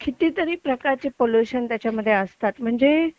कितीतरी प्रकारचे पॉल्युशन त्याच्यामध्ये असतात म्हणजे